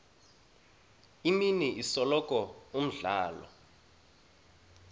imini isikolo umdlalo